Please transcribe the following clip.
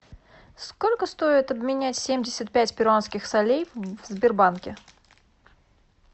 сколько стоит обменять семьдесят пять перуанских солей в сбербанке